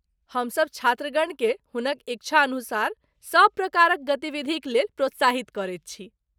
हमसभ छात्रगण केँ हुनक इच्छानुसार सभ प्रकारक गतिविधिक लेल प्रोत्साहित करैत छी ।